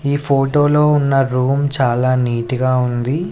ఈ ఫోటోలో ఉన్న రూమ్ చాలా నీట్ గా ఉంది.